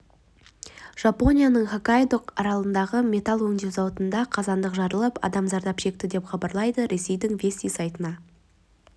жапонияның хоккайдо аралындағы метелл өңдеу зауытында қазандық жарылып адам зардап шекті деп хабарлайды ресейдің вести сайтына